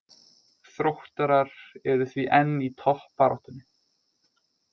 Þróttarar eru því enn í toppbaráttunni.